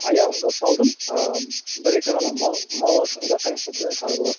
аяғымды салдым ы бір екі ғана маласың да қайтадан шығарып аласың